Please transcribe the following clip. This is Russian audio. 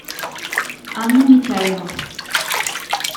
анна митяева